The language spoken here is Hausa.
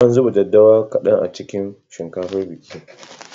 An zuba daddawa kaɗan a cikin shinkafar bikin.